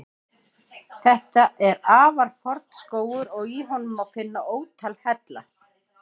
Þetta er afar forn skógur og í honum má finna ótal hella.